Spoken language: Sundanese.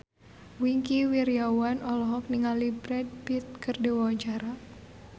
Wingky Wiryawan olohok ningali Brad Pitt keur diwawancara